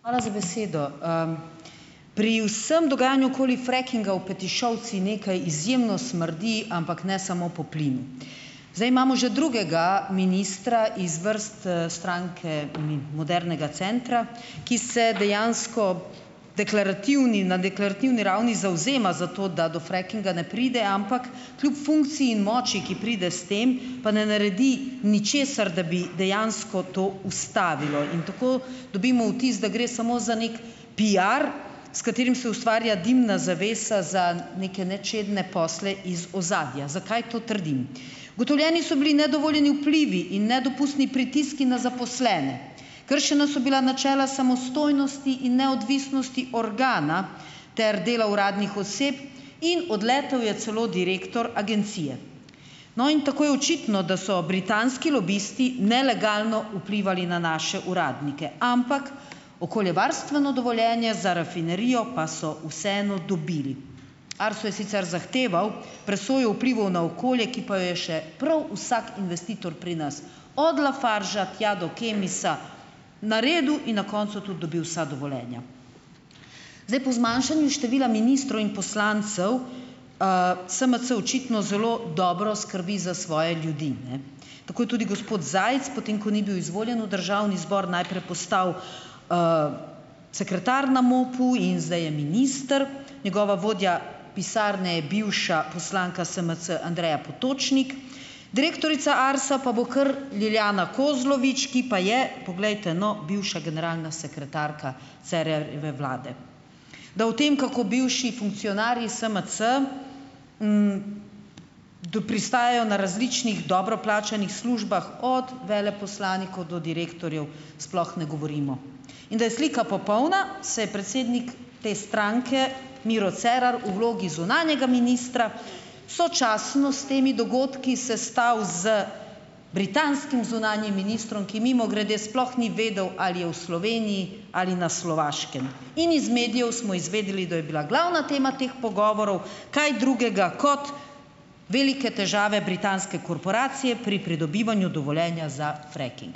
Hvala za besedo. Pri vsem dogajanju okoli "frackinga" v Petišovcih nekaj izjemno smrdi, ampak ne samo po plinu. Zdaj imamo že drugega ministra iz vrst, Stranke modernega centra, ki se dejansko deklarativni na deklarativni ravni zavzema za to, da do "frackinga" ne pride, ampak kljub funkciji in moči, ki pride s tem, pa ne naredi ničesar, da bi dejansko to ustavilo. In tako dobimo vtis, da gre samo za neki piar, s katerim se ustvarja dimna zavesa za neke nečedne posle iz ozadja. Zakaj to trdim? Ugotovljeni so bili nedovoljeni vplivi in nedopustni pritiski na zaposlene, kršena so bila načela samostojnosti in neodvisnosti organa ter dela uradnih oseb in odletel je celo direktor agencije. No, in tako je očitno, da so britanski lobisti nelegalno vplivali na naše uradnike, ampak okoljevarstveno dovoljenje za rafinerijo pa so vseeno dobili. Arso je sicer zahteval presojo vplivov na okolje, ki pa jo je še prav vsak investitor pri nas, od Lafargea tja do Kemisa, naredil in na koncu tudi dobil vsa dovoljenja. Zdaj po zmanjšanju števila ministrov in poslancev, SMC očitno zelo dobro skrbi za svoje ljudi, ne. Tako je tudi gospod Zajc, potem ko ni bil izvoljen v državni zbor, najprej postal, sekretar na MOP-u in zdaj je minister, njegova vodja pisarne je bivša poslanka SMC Andreja Potočnik, direktorica Arsa pa bo kar Lilijana Kozlovič, ki pa je, poglejte, no, bivša generalna sekretarka Cerarjeve vlade. Da o tem, kako bivši funkcionarji SMC, pristajajo na različnih dobro plačanih službah, od veleposlanikov do direktorjev, sploh ne govorimo. In da je slika popolna, se je predsednik te stranke Miro Cerar v vlogi zunanjega ministra sočasno s temi dogodki sestal z britanskim zunanjim ministrom, ki, mimogrede, sploh ni vedel, ali je v Sloveniji ali na Slovaškem. In iz medijev smo izvedeli, da je bila glavna tema teh pogovorov kaj drugega kot velike težave britanske korporacije pri pridobivanju dovoljenja za "fracking".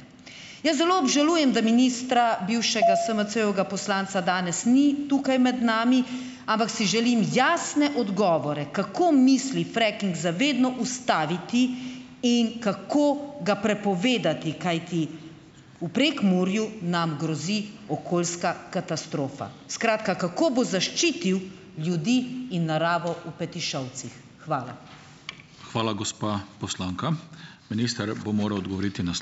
Jaz zelo obžalujem, da ministra, bivšega SMC-jevega poslanca, danes ni tukaj med nami, ampak si želim jasne odgovore, kako misli "fracking" za vedno ustaviti in kako ga prepovedati, kajti v Prekmurju nam grozi okoljska katastrofa. Skratka, kako bo zaščitil ljudi in naravo v Petišovcih. Hvala.